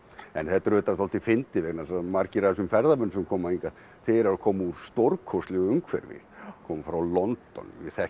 en þetta er auðvitað svolítið fyndið vegna þess að margir af þessum ferðamönnum sem koma hingað þeir eru að koma úr stórkostlegu umhverfi koma frá London við þekkjum